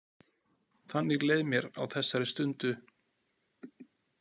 Þannig leið mér á þessari stundu.